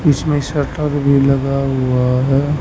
इसमें शटर भी लगा हुआ है।